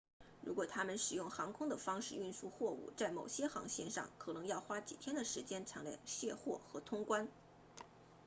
如果他们使用航空的方式运输货物在某些航线上可能要花几天的时间才能卸货和通关